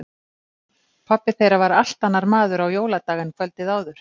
Pabbi þeirra var allt annar maður á jóladag en kvöldið áður.